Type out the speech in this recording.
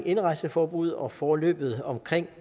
indrejseforbud og forløbet omkring